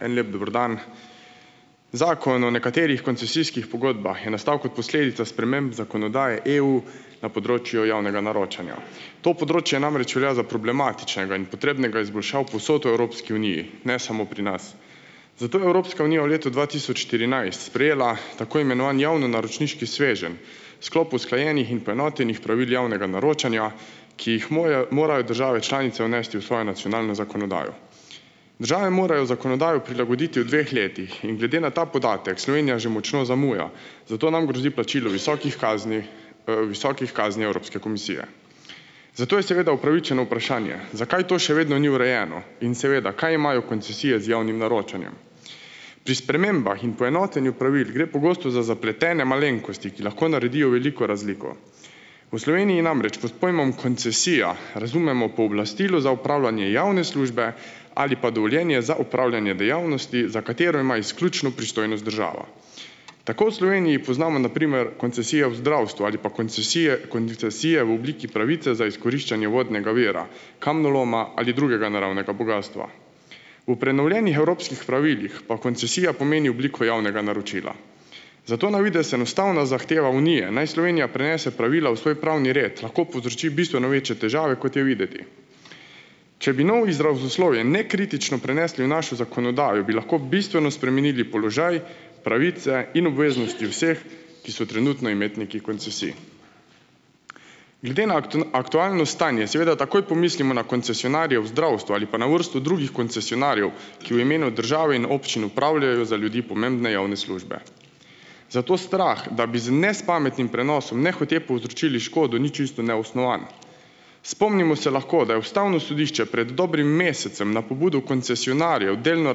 En lep dober dan. Zakon o nekaterih koncesijskih pogodbah je nastal kot posledica sprememb zakonodaje EU na področju javnega naročanja. To področje namreč velja za problematičnega in potrebnega izboljšav povsod v Evropski uniji, ne samo pri nas. Zato je Evropska unija v letu dva tisoč štirinajst sprejela tako imenovani javnonaročniški sveženj, sklop usklajenih in poenotenih pravil javnega naročanja, ki jih mojajo morajo države članice vnesti v svojo nacionalno zakonodajo. Države morajo zakonodajo prilagoditi v dveh letih in glede na ta podatek Slovenija že močno zamuja, zato nam grozi plačilo visokih kazni, visokih kazni Evropske komisije. Zato je seveda upravičeno vprašanje: "Zakaj to še vedno ni urejeno in, seveda, kaj imajo koncesije z javnim naročanjem?" Pri spremembah in poenotenju pravil gre pogosto za zapletene malenkosti, ki lahko naredijo veliko razliko. V Sloveniji namreč pod pojmom koncesija razumemo pooblastilo za upravljanje javne službe ali pa dovoljenje za opravljanje dejavnosti, za katero ima izključno pristojnost država. Tako v Sloveniji poznamo, na primer, koncesije v zdravstvu ali pa koncesije koncesije v obliki pravice za izkoriščanje vodnega vira, kamnoloma ali drugega naravnega bogastva. V prenovljenih evropskih pravilih pa koncesija pomeni obliko javnega naročila. Zato na videz enostavna zahteva Unije, naj Slovenija prenese pravila v svoj pravni red, lahko povzroči bistveno večje težave, kot je videti. Če bi novo izrazoslovje nekritično prenesli v našo zakonodajo, bi lahko bistveno spremenili položaj, pravice in obveznosti vseh, ki so trenutno imetniki koncesij. Glede na aktualno stanje seveda takoj pomislimo na koncesionarje v zdravstvu ali pa na vrsto drugih koncesionarjev, ki v imenu države in občin opravljajo za ljudi pomembne javne službe. Zato strah, da bi z nespametnim prenosom nehote povzročili škodo, ni čisto neosnovan. Spomnimo se lahko, da je ustavno sodišče pred dobrim mesecem na pobudo koncesionarjev delno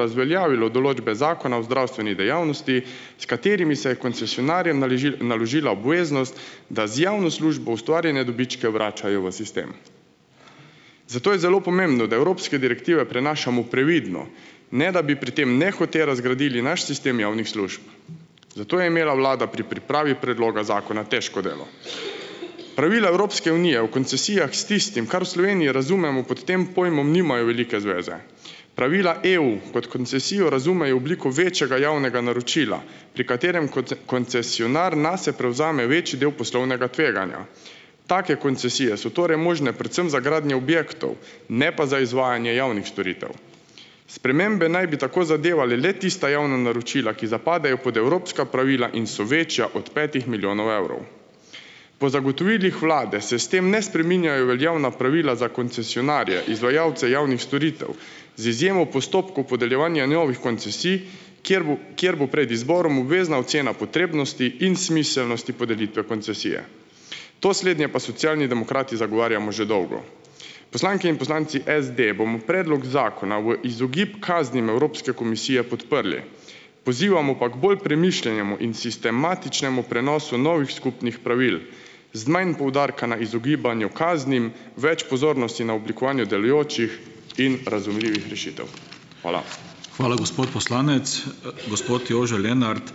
razveljavilo določbe Zakona o zdravstveni dejavnosti, s katerimi se je koncesionarjem naložila obveznost, da z javno službo ustvarjene dobičke vračajo v sistem. Zato je zelo pomembno, da evropske direktive prenašamo previdno, ne da bi pri tem nehote razgradili naš sistem javnih služb. Zato je imela vlada pri pripravi predloga zakona težko delo. Pravila Evropske unije o koncesijah s tistim, kar v Sloveniji razumemo pod tem pojmom, nimajo velike zveze. Pravila EU kot koncesijo razumejo obliko večjega javnega naročila, pri katerem koncesionar nase prevzame večji del poslovnega tveganja. Take koncesije so torej možne predvsem za gradnjo objektov, ne pa za izvajanje javnih storitev. Spremembe naj bi tako zadevale le tista javna naročila, ki zapadejo pod evropska pravila in so večja od petih milijonov evrov. Po zagotovilih vlade se s tem ne spreminjajo veljavna pravila za koncesionarje, izvajalce javnih storitev, z izjemo postopkov podeljevanja novih koncesij, kjer bo kjer bo pred izborom obvezna ocena potrebnosti in smiselnosti podelitve koncesije. To slednje pa Socialni demokrati zagovarjamo že dolgo. Poslanke in poslanci SD bomo predlog zakona v izogib kaznim Evropske komisije podprli. Pozivamo pa k bolj premišljenemu in sistematičnemu prenosu novih skupnih pravil, z manj poudarka na izogibanju kaznim, več pozornosti na oblikovanju delujočih in razumljivih rešitev. Hvala. Hvala, gospod poslanec, gospod Jože Lenart ...